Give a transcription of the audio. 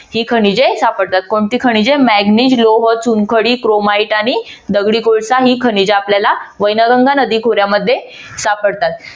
ही खनिजे सापडतात. कोणती खनिजे? manganese लोह चुनखडी chromite आणि दगडी कोळसा ही खनिजे आपल्याला वैनगंगा नदी खोऱ्यामध्ये सापडतात.